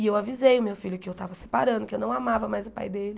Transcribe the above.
E eu avisei o meu filho que eu estava separando, que eu não amava mais o pai dele,